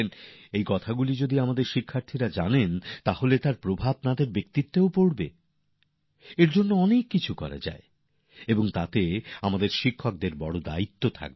এইসব কথা আমাদের শিক্ষার্থীরা জানলে তাঁদের ব্যক্তিত্বেও এদের প্রভাব দেখা যায় তার জন্য অনেক কাজ করা যেতে পারে যাতে আমাদের শিক্ষকদের বিরাট বড় দায়িত্ব আছে